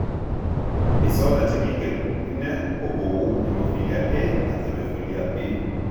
Disorder chekingen ine ko kou hemophilia A ak hemophilia B.